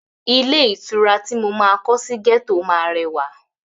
Ilé ìtura ti mo máa kọ sí gẹ́tọ̀ máa rẹwà.